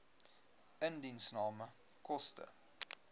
indiensname koste